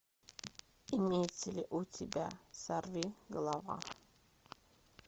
имеется ли у тебя сорвиголова